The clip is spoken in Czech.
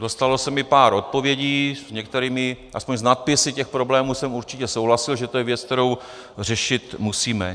Dostalo se mi pár odpovědí, s některými, aspoň s nadpisy těch problémů, jsem určitě souhlasil, že to je věc, kterou řešit musíme.